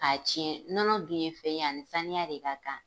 K'a tiɲɛ. Nɔnɔ dun ye fɛn ye, ani saniya de ka kan.